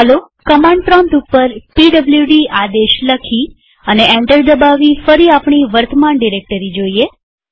ચાલો command prompt ઉપર PWD આદેશ લખી અને એન્ટર દબાવી ફરી આપણી વર્તમાન ડિરેક્ટરી જોઈએ